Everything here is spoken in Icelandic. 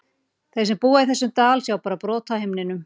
Þeir sem búa í þessum dal sjá bara brot af himninum.